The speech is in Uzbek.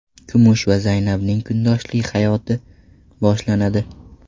Kumush va Zaynabning kundoshlik hayoti boshlanadi.